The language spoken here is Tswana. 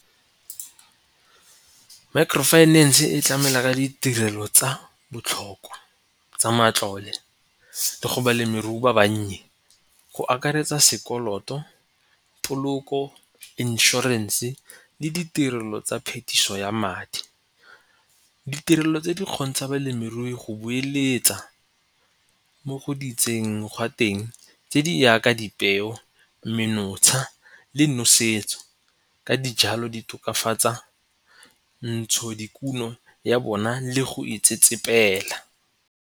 Micro finance e tlamela ka ditirelo tsa botlhokwa tsa matlole le go balemirui ba bannye go akaretsa sekoloto, poloko, inšorense le ditirelo tsa phetiso ya madi. Ditirelo tse di kgontsha balemirui go bueletsa mo go di itseng gwa teng tse di yaka dipeo, menontsha le nosetso ka dijalo di tokafatsa ntshodikuno ya bona le go itsetsepela.